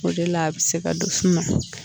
O de la a bɛ se ka don f'u ma.